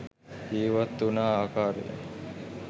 ජීවත් උන ආකාරයත්